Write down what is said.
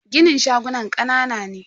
ginin shagunan kanana ne.